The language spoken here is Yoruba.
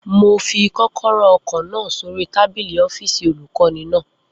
Mo fi kọ́kọ́rọ́ ọkọ̀ náà sórí tábìlì ọ́fìsì olùkọ́ni náà